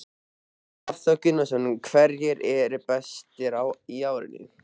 Hafþór Gunnarsson: Hverjir eru bestir í ár?